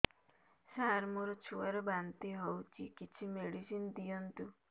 ସାର ମୋର ଛୁଆ ର ବାନ୍ତି ହଉଚି କିଛି ମେଡିସିନ ଦିଅନ୍ତୁ